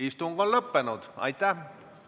Istungi lõpp kell 15.55.